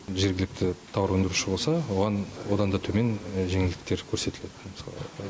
жергілікті тауар өндіруші болса оған одан да төмен жеңілдіктер көрсетіледі мысалы